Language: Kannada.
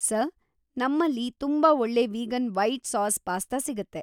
ಸರ್‌, ನಮ್ಮಲ್ಲಿ ತುಂಬಾ ಒಳ್ಳೆ ವೀಗನ್ ವೈಟ್‌ ಸಾಸ್ ಪಾಸ್ತಾ ಸಿಗುತ್ತೆ.